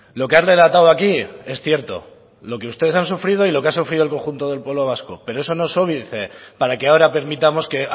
lo que ha relatado aquí es cierto lo que ustedes han sufrido y lo que ha sufrido el conjunto del pueblo vasco pero eso no es óbice para que ahora permitamos que